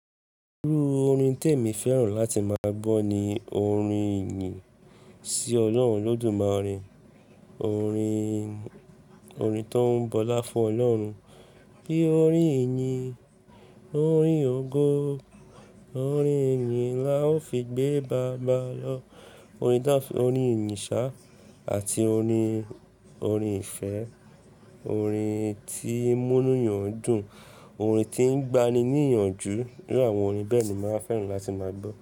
Irú orin tí èmi fẹ́ràn láti máa gbọ́ ni orin ìyìn sí Ọlọ́run olodúmare, orin, orin tó ń bọlá fún Ọlọ́run, bí i orin ìyìn, orin ògo, orin ìyìn láòó fi gbé baba lọ, orin tó ń f-- orin Ìyìnṣá àti orin, orin ìfẹ́, orin tí ń múni èèyàn dùn, orin tí ń gbani ní ìyànjú. Irú àwọn orin bẹ́ẹ̀ ni màá fẹ́ràn láti máa gbọ́.